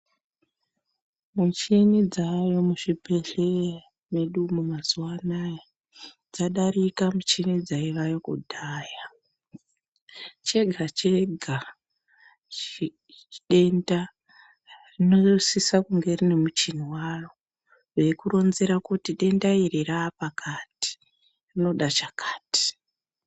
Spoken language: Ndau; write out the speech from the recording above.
Muchini dzaayo muzvibhehlera medu umu mazuwa anaya dzadarika michini dzaivayo kudhaya, chega-chega denda rinosisa kunga rine muchini weikuronzera kuti denda iri rapakati, rinoda chakati.